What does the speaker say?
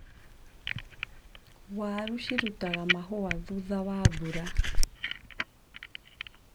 Waru ciaruta mahũa thutha wa mbura.